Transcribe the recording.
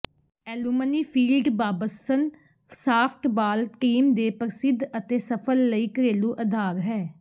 alumni field Babson softball team ਦੇ ਪ੍ਰਸਿੱਧ ਅਤੇ ਸਫਲ ਲਈ ਘਰੇਲੂ ਅਧਾਰ ਹੈ